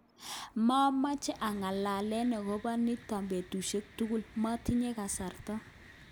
Momoche anga'lalen okobo niton betushek tugul, motinye kasarta.